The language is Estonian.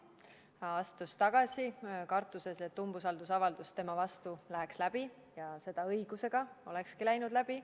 Ta astus tagasi kartuses, et umbusaldusavaldus tema vastu läheb läbi, ja seda õigusega, see olekski läinud läbi.